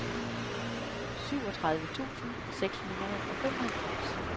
syvogtredive tusind seks hundrede og femoghalvfems